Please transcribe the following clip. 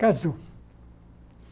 Casou.